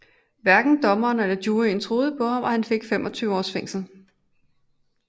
Hverken dommeren eller juryen troede på ham og han fik 25 års fængsel